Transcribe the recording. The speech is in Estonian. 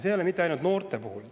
See ei ole ainult noorte puhul nii.